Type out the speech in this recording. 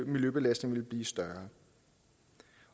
miljøbelastningen ville blive større